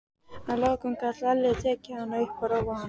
Að lokum gat Lalli tekið hana upp og róað hana.